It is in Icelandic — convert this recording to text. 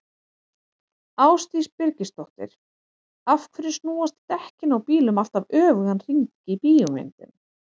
Ásdís Birgisdóttir: Af hverju snúast dekkin á bílum alltaf öfugan hring í bíómyndum?